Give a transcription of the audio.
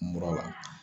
Mura la